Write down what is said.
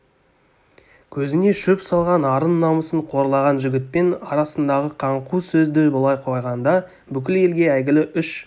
көзіне шөп салған арын намысын қорлаған жігітпен арасындағы қаңқу сөзді былай қойғанда бүкіл елге әйгілі үш